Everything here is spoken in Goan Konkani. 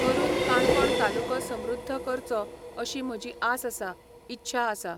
करून काणकोण तालुको समृद्ध करचो अशी म्हजी आस आसा, इच्छा आसा